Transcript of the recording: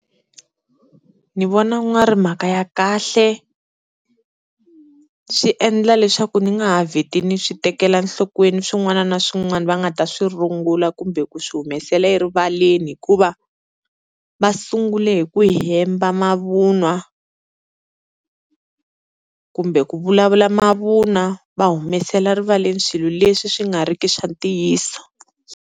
Ni vona ku nga ri mhaka ya kahle, swi endla leswaku ni nga ha vheti ni swi tekela nhlokweni swin'wana na swin'wana va nga ta swi rungula kumbe ku swi humesela erivaleni, hikuva va sungule hi ku hemba mavun'wa kumbe ku vulavula mavunwa va humesela rivaleni swilo leswi swi nga riki swa ntiyiso.